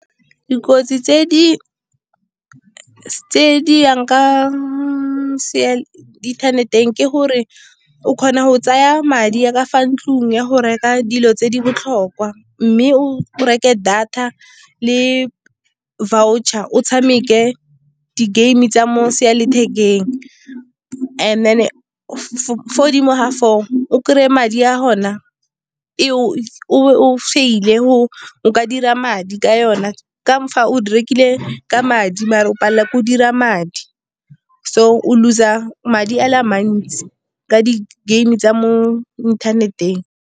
Dikotsi tse di yang ka internet-eng, ke gore o kgona go tsaya madi a ka fa ntlong ya go reka dilo tse di botlhokwa mme o reke data le voucher o tshameke di-game tsa mo . And then-e fo godimo ga foo o kry-e madi a gona e fail-e, go ka dira madi ka yone. Ka fa o di rekile ka madi mare o palelwa ke go dira madi, so o lose-a madi a le mantsi ka di-game tsa mo inthaneteng.